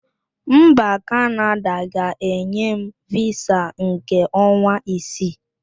Mba Kanada ga-enye m visa nke ọnwa isii.